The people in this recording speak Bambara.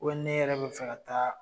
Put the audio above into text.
n'e yɛrɛ bɛ fɛ ka taa